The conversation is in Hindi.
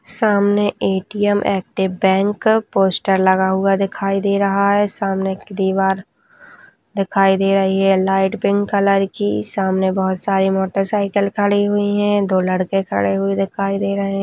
सामने ए_टी_एम एक बैंक का पोस्टर लगा हुआ दिखाई दे रहा है सामने एक दीवार दिखाई दे रही है लाइट पिंक कलर की सामने बहुत सारी मोटर साइकिल खड़ी हुई है दो लड़के खड़े हुए दिखाई दे रहे है।